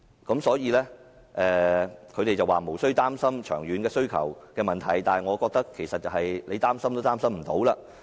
他們表示無須擔心長遠需求的問題，但我覺得其實是擔心也擔心不來。